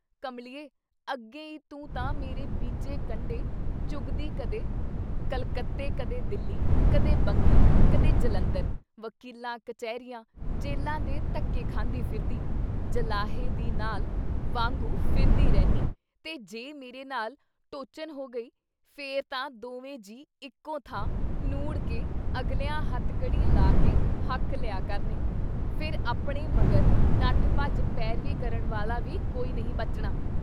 ਕਮਲੀਏ ! ਅੱਗੇ ਈ ਤੂੰ ਤਾਂ ਮੇਰੇ ਬੀਜੇ ਕੰਡੇ ਚੁਗਦੀ ਕਦੇ ਕਲਕੱਤੇ ਕਦੇ ਦਿੱਲੀ, ਕਦੇ ਬੰਗੀ, ਕਦੇ ਜਲੰਧਰ ਵਕੀਲਾਂ, ਕਚਹਿਰੀਆਂ ਜੇਲ੍ਹਾਂ ਦੇ ਧੱਕੇ ਖਾਂਦੀ ਫਿਰਦੀ, ਜਲਾਹੇ ਦੀ ਨਾਲ ਵਾਂਗੂੰ ਫਿਰਦੀ ਰਹਿੰਨੀ ਤੇ ਜੇ ਮੇਰੇ ਨਾਲ ਟੋਚਨ ਹੋ ਗਈ, ਫਿਰ ਤਾਂ ਦੋਵੇ ਜੀਅ ਇੱਕੋ ਥਾਂ ਨੂੜ ਕੇ ਅਗਲਿਆਂ ਹੱਥਕੜੀ ਲਾ ਕੇ ਹੱਕ ਲਿਆ ਕਰਨੇ । ਫੇ' ਆਪਣੇ ਮਗਰ ਨੱਠ ਭੱਜ, ਪੈਰਵੀ ਕਰਨ ਵਾਲ਼ਾ ਵੀ ਕੋਈ ਨਹੀਂ ਬਚਣਾ।